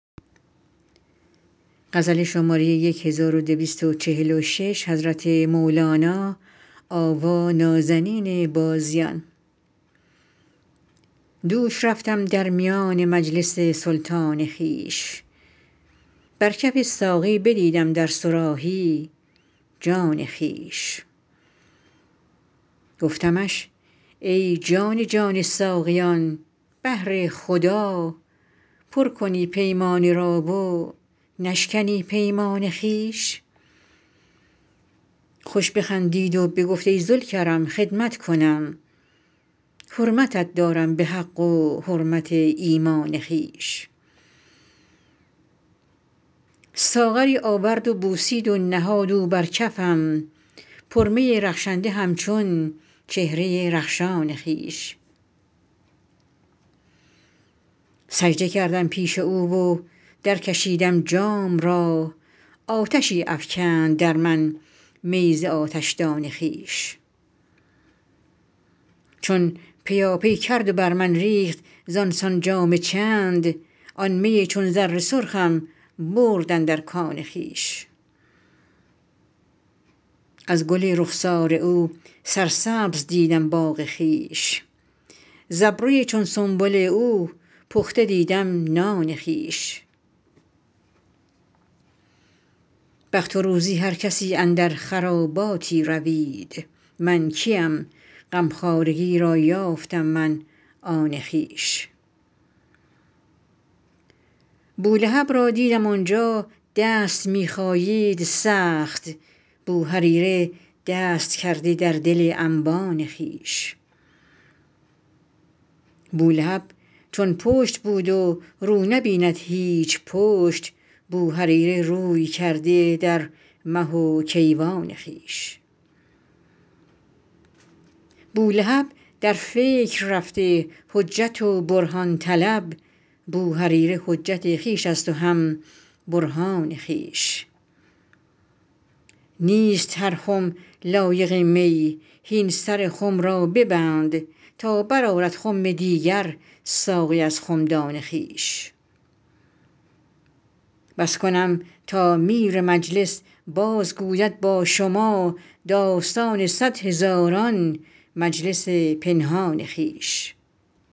دوش رفتم در میان مجلس سلطان خویش بر کف ساقی بدیدم در صراحی جان خویش گفتمش ای جان جان ساقیان بهر خدا پر کنی پیمانه ای و نشکنی پیمان خویش خوش بخندید و بگفت ای ذوالکرم خدمت کنم حرمتت دارم به حق و حرمت ایمان خویش ساغری آورد و بوسید و نهاد او بر کفم پرمی رخشنده همچون چهره رخشان خویش سجده کردم پیش او و درکشیدم جام را آتشی افکند در من می ز آتشدان خویش چون پیاپی کرد و بر من ریخت زان سان جام چند آن می چون زر سرخم برد اندر کان خویش از گل رخسار او سرسبز دیدم باغ خویش ز ابروی چون سنبل او پخته دیدم نان خویش بخت و روزی هر کسی اندر خراباتی روید من کیم غمخوارگی را یافتم من آن خویش بولهب را دیدم آن جا دست می خایید سخت بوهریره دست کرده در دل انبان خویش بولهب چون پشت بود و رو نبیند هیچ پشت بوهریره روی کرده در مه و کیوان خویش بولهب در فکر رفته حجت و برهان طلب بوهریره حجت خویش است و هم برهان خویش نیست هر خم لایق می هین سر خم را ببند تا برآرد خم دیگر ساقی از خمدان خویش بس کنم تا میر مجلس بازگوید با شما داستان صد هزاران مجلس پنهان خویش